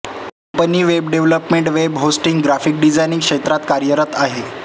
company web development web hosting graphic designing क्षेत्रात कार्यरत आहे